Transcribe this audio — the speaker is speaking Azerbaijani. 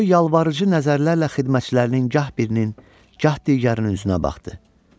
O yalvarıcı nəzərlərlə xidmətçilərinin gah birinin, gah digərinin üzünə baxdı.